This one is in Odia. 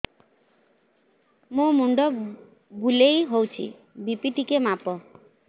ମୋ ମୁଣ୍ଡ ବୁଲେଇ ହଉଚି ବି.ପି ଟିକେ ମାପ